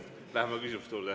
Läheme küsimuste juurde.